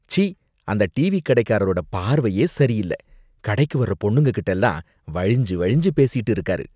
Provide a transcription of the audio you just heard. ச்சீ! அந்த டீவி கடைக்காரரோட பார்வையே சரியில்ல, கடைக்கு வர்ற பொண்ணுங்ககிட்டலாம் வழிஞ்சு வழிஞ்சு பேசிட்டு இருக்காரு